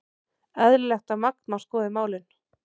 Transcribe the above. Eðlilegt að Magma skoði málin